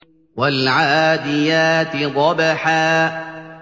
وَالْعَادِيَاتِ ضَبْحًا